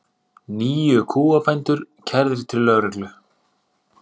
Níu kúabændur kærðir til lögreglu